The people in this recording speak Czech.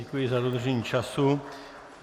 Děkuji za dodržení času.